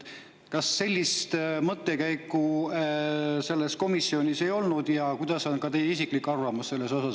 Kas sellist mõttekäiku selles komisjonis ei olnud ja mis on teie isiklik arvamus sellest?